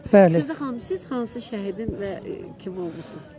Sevda xanım, siz hansı şəhidin və kim olmuşduz?